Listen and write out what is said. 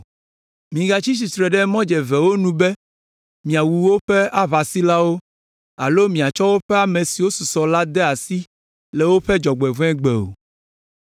Migatsi tsitre ɖe mɔdzevewo nu be miawu woƒe aʋasilawo alo miatsɔ woƒe ame siwo susɔ la de asi le woƒe dzɔgbevɔ̃egbe o.